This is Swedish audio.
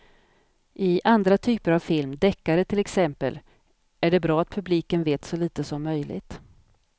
I andra typer av film, deckare till exempel, är det bra att publiken vet så lite som möjligt.